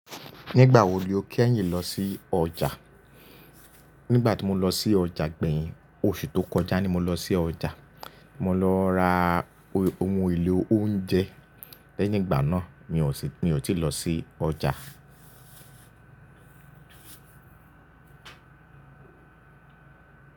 Nígbà wo lo kẹ́yìn lọ sí ọjà? Nígbà tí mo lọ sí ọjà gbẹ̀yìn, oṣù tó kọjá ni mo lọ sí ọjà. Mo lọ ra ohun èlò oúnjẹ, lẹ́yìn ìgbà náà mi ò tí lọ sí ọjà.